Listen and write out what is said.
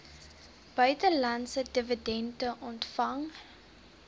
buitelandse dividende ontvang